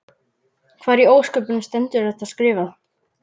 Hvar í ósköpunum stendur þetta skrifað?